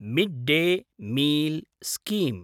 mid-day meal scheme